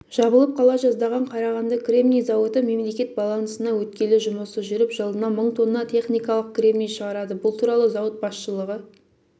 жабылып қала жаздаған қарағанды кремний зауыты мемлекет балансына өткелі жұмысы жүріп жылына мың тонна техникалық кремний шығарады бұл туралы зауыт басшылығы